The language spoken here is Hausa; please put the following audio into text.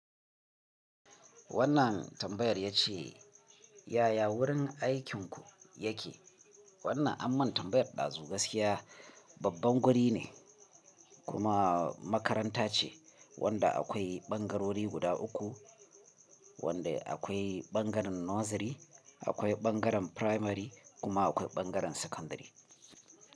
Wannan tambayar ya ce yaya wurin aikinku yake? Wannan ammun tambayar ɗazu gaskiya babban guri ne kuma makaranta ce wanda akwai ɓangarori guda uku wanda akwai ɓangaren nursery akwai ɓangaren primary kuma akwai ɓangaren secondary.